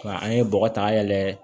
Nka an ye bɔgɔ ta yɛlɛ